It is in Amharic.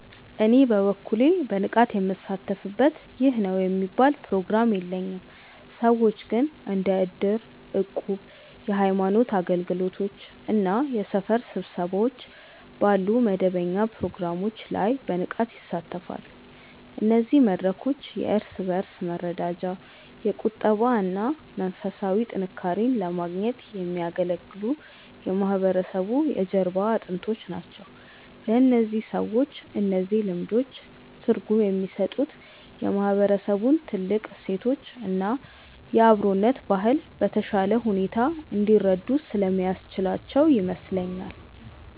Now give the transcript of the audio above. እኔ በበኩሌ በንቃት ምሳተፍበት ይህ ነው የሚባል ፕሮግራም የለኝም። ሰዎች ግን እንደ እድር፣ እቁብ፣ የሃይማኖት አገልግሎቶች እና የሰፈር ስብሰባዎች ባሉ መደበኛ ፕሮግራሞች ላይ በንቃት ይሳተፋሉ። እነዚህ መድረኮች የእርስ በእርስ መረዳጃ፣ የቁጠባ እና መንፈሳዊ ጥንካሬን ለማግኘት የሚያገለግሉ የማህበረሰቡ የጀርባ አጥንቶች ናቸው። ለእነዚህ ሰዎች እነዚህ ልምዶች ትርጉም የሚሰጡት የማህበረሰቡን ጥልቅ እሴቶች እና የአብሮነት ባህል በተሻለ ሁኔታ እንዲረዱ ስለሚያስችላቸው ይመስለኛል።